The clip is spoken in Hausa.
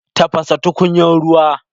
Tafasa tukunyar ruwa.